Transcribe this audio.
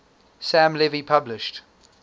sam levy published